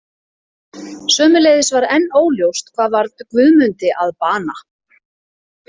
Sömuleiðis var enn óljóst hvað varð Guðmundi að bana.